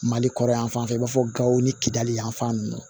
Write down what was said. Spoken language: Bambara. Mali kɔrɔ yan fan fɛ i b'a fɔ gawo ni kidiyali yanfan nunnu ye